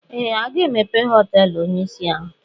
Ee! Aga emepe họteelụ onyeisi ala taa.